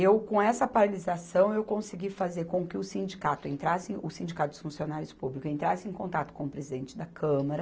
Eu, com essa paralisação, eu consegui fazer com que o sindicato entrasse, o sindicato dos funcionários públicos entrassem em contato com o presidente da Câmara.